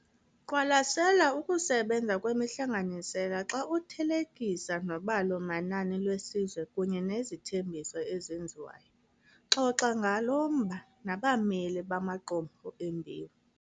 Qwalasela ukusebenza kwemihlanganisela xa uthelekisa nobalo-manani lwesizwe kunye nezithembiso ezenziwayo. Xoxa ngalo mba nabameli bamaqumrhu embewu.